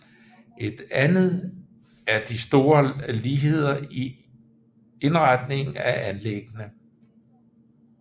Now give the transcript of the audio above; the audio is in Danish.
Et andet er de store ligheder i indretningen af anlæggene